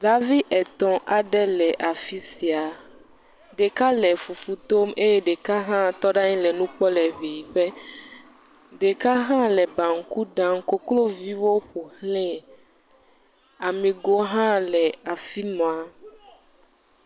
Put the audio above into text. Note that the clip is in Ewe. Davi etɔ̃ aɖe le afi sia, ɖeka le fufu tom eye ɖeka hã tɔ ɖe anyi le nu kpɔm le kpuiƒe, ɖeka hã le banku ɖam kokloviwo ƒo xlae, aŋegowo hã le afi ma.